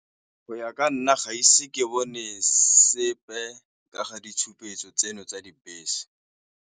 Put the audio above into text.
Go ya ka nna gaise ke bone sepe ka ga ditshupetso tseno tsa dibese.